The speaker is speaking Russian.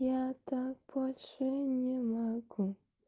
я так больше не могу